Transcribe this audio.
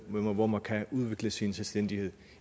hvor man kan udvikle sin selvstændighed